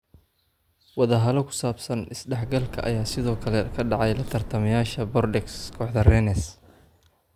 Wadahalo ku saabsan isdhexgalka ayaa sidoo kale ka dhacay la tartamayaasha Bordeaux, kooxda Rennes.